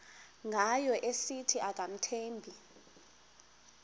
ngayo esithi akamthembi